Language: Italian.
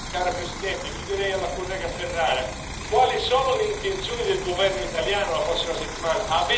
Cara Presidente, io chiederei alla collega Ferrara quali solo le intenzioni del governo italiano la prossima settimana?